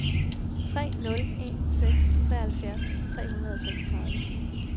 tre nul en seks treoghalvtreds tre hundrede og seksogtredive